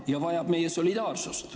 Poola vajab meie solidaarsust.